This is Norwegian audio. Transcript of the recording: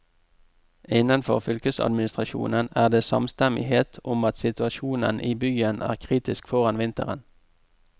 Innenfor fylkesadministrasjonen er det samstemmighet om at situasjonen i byen er kritisk foran vinteren.